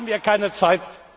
Dafür haben wir keine Zeit.